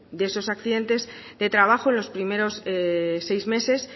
de esos accidentes de trabajo los primeros seis meses